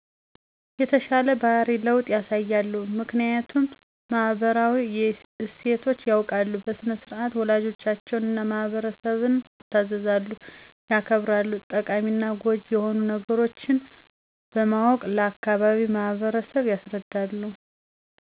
የተሻለ ባህሪ ለዉጥ ያሳያሉ። ምክኒያቱም ማህበራዊ እሴቶች ያዉቃሉ በሥነ -ስርዓት ወላጆቻቸዉን እና ማህበረሰብን ይታዘዛሉ ያከብራሉ። ጠቃሚና ጎጂ የሆኑ ነገሮች በማወቅ ለአካባቢዉ ማህበረሰብ ያስረዳሉ።